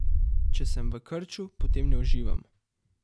Če sem v krču, potem ne uživam.